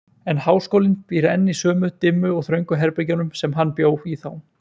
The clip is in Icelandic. En háskólinn býr enn í sömu, dimmu og þröngu herbergjunum, sem hann bjó í þá.